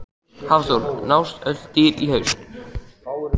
Hafþór: Nást öll dýr í haust?